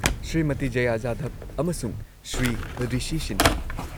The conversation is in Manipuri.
-ꯁ꯭ꯔꯤꯃꯇꯤ ꯖꯌꯥ ꯖꯥꯙꯕ ꯑꯃꯁꯨꯡ ꯁ꯭ꯔꯤ ꯔꯤꯁꯤ ꯁꯤꯟꯍꯥ